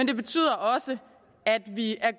det betyder også at vi er